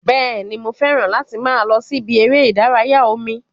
Bẹ́ẹ̀ni, mo fẹ́ràn láti máa lọ sí ibi eré ìdárayá omi